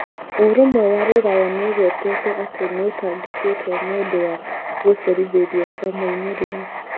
Ũrũmwe wa Rũraya nĩ ũgwetete atĩ nĩ ũtangĩkĩte nĩ ũndũ wa gũcerithĩrio kwa moimĩrĩro.